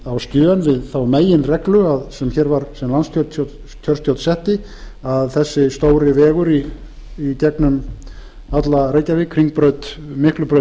á skjön við þá meginreglu sem landskjörstjórn setti að þessi stóri vegur í gegnum alla reykjavík hringbraut miklabraut